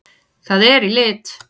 Það er í lit!